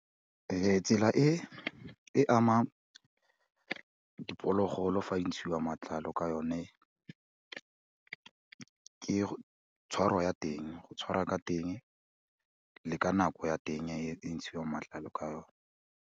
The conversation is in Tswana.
Tsela e e amang diphologolo fa e ntshiwa matlalo ka yone, ke tshwaro ya teng go tshwara ka teng le ka nako ya teng e ntshiwang matlalo ka yone.